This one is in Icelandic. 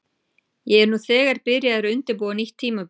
Ég er nú þegar byrjaður að undirbúa nýtt tímabil.